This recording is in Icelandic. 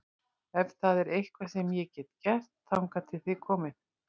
Ef það er eitthvað sem ég get gert þangað til þið komið